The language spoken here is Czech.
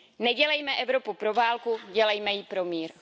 Nedělejme Evropu pro válku, dělejme ji pro mír!